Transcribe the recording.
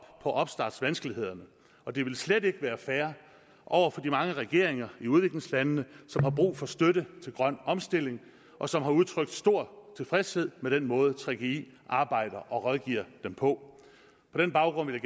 på opstartsvanskelighederne og det ville slet ikke være fair over for de mange regeringer i udviklingslandene som har brug for støtte til grøn omstilling og som har udtrykt stor tilfredshed med den måde gggi arbejder og rådgiver dem på på den baggrund vil